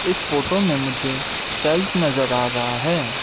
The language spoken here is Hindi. इस फोटो मे मुझे शेल्फ नजर आ रहा है।